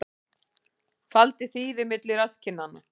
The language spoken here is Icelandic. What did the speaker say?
Faldi þýfi milli rasskinnanna